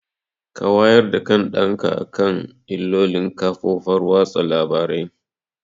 Ka wayar da kan ɗan ka akan illolin kafofar watsa labarai!